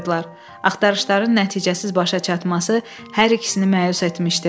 Axtarışların nəticəsiz başa çatması hər ikisini məyus etmişdi.